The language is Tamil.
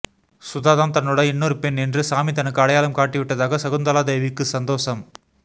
சுதாதான் தன்னோட இன்னொரு பெண் என்று சாமி தனக்கு அடையாளம் காட்டிவிட்டதாக சகுந்தலா தேவிக்கு சந்தோசம்